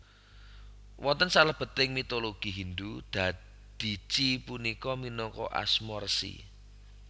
Wonten salebeting mitologi Hindu Dadici punika minangka asma resi